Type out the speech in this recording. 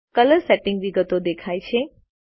colour settings વિગતો દેખાય છે